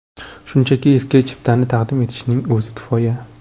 Shunchaki eski chiptani taqdim etishning o‘zi kifoya.